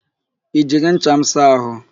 I jiri ncha m saa àhụ́?